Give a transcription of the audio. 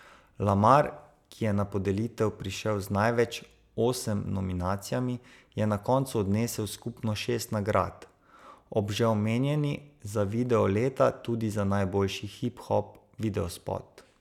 Lamar, ki je na podelitev prišel z največ, osem nominacijami, je na koncu odnesel skupno šest nagrad, ob že omenjeni za video leta tudi za najboljši hip hop videospot.